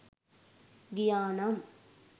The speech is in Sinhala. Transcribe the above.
ගියා නම්.